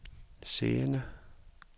siddende